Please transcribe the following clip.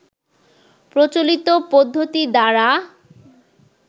প্রচলিত পদ্ধতি দ্বারা